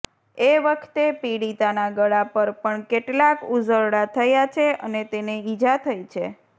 એ વખતે પીડિતાના ગળા પર પણ કેટલાક ઉઝરડા થયા છે અને તેને ઇજા થઇ છે